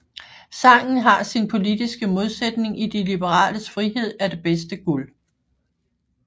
Sangen har sin politiske modsætning i de liberales Frihed er det bedste guld